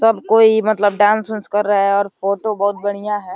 सब कोई मतलब डांस -उन्स कर रहा है और फोटो बोहोत बढ़िया हैं।